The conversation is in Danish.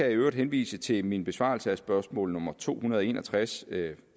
øvrigt henvise til min besvarelse af spørgsmål nummer to hundrede og en og tres